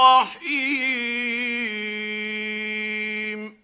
رَّحِيمٌ